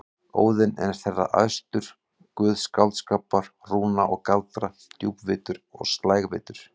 Óðinn er þeirra æðstur, guð skáldskapar, rúna og galdra, djúpvitur og slægvitur.